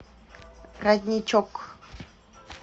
родничок